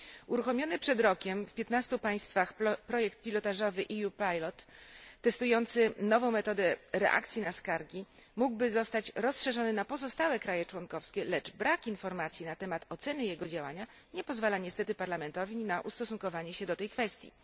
Uruchomiony przed rokiem w piętnastu państwach projekt pilotażowy EU Pilot testujący nową metodę reakcji na skargi mógłby zostać rozszerzony na pozostałe kraje członkowskie, lecz brak informacji na temat oceny jego działania nie pozwala niestety Parlamentowi na ustosunkowanie się do tej kwestii.